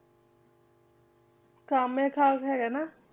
ਕਮਾਥਿਆ ਹੈਗਾ ਨਾ,